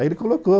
Aí ele colocou,